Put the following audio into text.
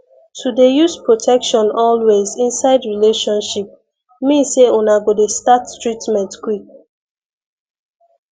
to dey use protection always inside relationship mean say una go dey start treatment quick